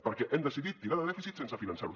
perquè hem decidit tirar de dèficit sense finançarho